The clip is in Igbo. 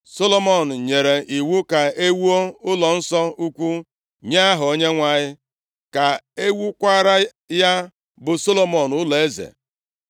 Solomọn nyere iwu ka e wuo ụlọ nso ukwu nye Aha Onyenwe anyị, ka e wuokwara ya bụ Solomọn ụlọeze.